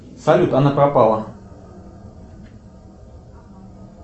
салют она пропала